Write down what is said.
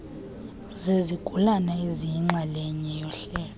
zezigulana eziyinxalenye yohlelo